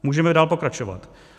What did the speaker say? Můžeme dál pokračovat.